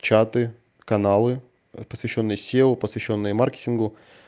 чаты каналы посвящённые сео посвящённые маркетингу